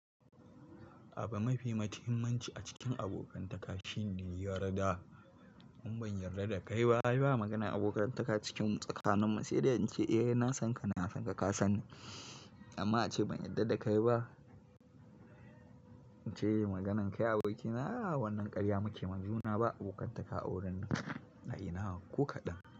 Abu mafi matimmanci a cikin abokantaka shine yarda. In ban yarda da kai ba, ai ba maganan abokantaka cikin tsakaninmu, sai dai in ce eh na san ka, na san ka, ka san ni amma ace ban yarda da kai ba. In ce maganan kai abokina a wannan karya muke majuna ba abokantaka a wurin nan a ina ko kaɗan.